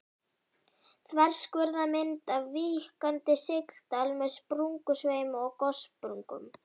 Þverskurðarmynd af víkkandi sigdal með sprungusveimi og gossprungum.